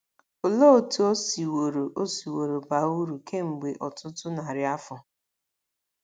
Olee otú o siworo o siworo baa uru kemgbe ọtụtụ narị afọ?